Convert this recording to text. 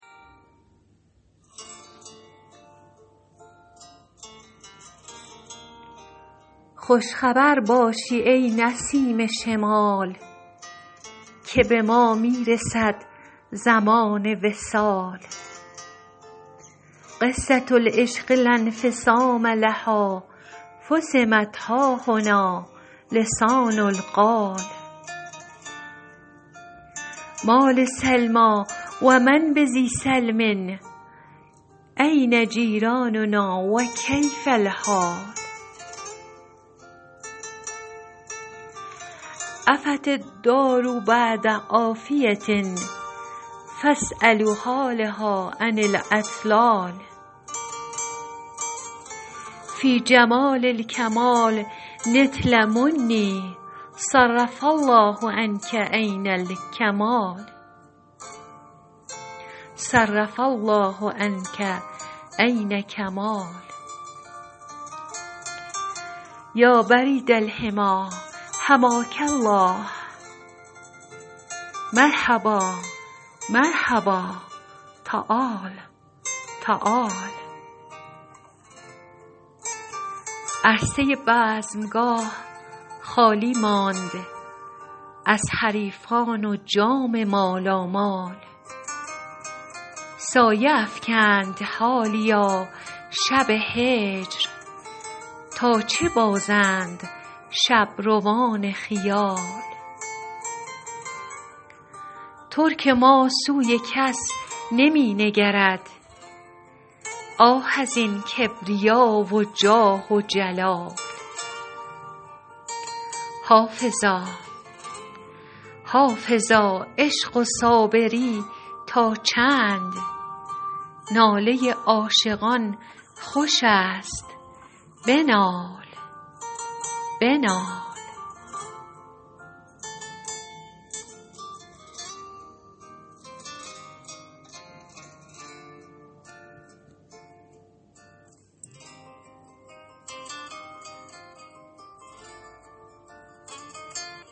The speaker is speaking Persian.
خوش خبر باشی ای نسیم شمال که به ما می رسد زمان وصال قصة العشق لا انفصام لها فصمت ها هنا لسان القال ما لسلمی و من بذی سلم أین جیراننا و کیف الحال عفت الدار بعد عافیة فاسألوا حالها عن الاطلال فی جمال الکمال نلت منی صرف الله عنک عین کمال یا برید الحمی حماک الله مرحبا مرحبا تعال تعال عرصه بزمگاه خالی ماند از حریفان و جام مالامال سایه افکند حالیا شب هجر تا چه بازند شبروان خیال ترک ما سوی کس نمی نگرد آه از این کبریا و جاه و جلال حافظا عشق و صابری تا چند ناله عاشقان خوش است بنال